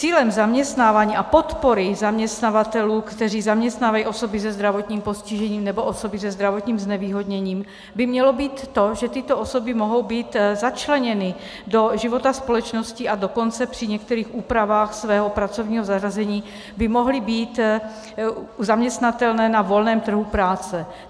Cílem zaměstnávání a podpory zaměstnavatelů, kteří zaměstnávají osoby se zdravotním postižením nebo osoby se zdravotním znevýhodněním, by mělo být to, že tyto osoby mohou být začleněny do života společnosti, a dokonce při některých úpravách svého pracovního zařazení by mohly být zaměstnatelné na volném trhu práce.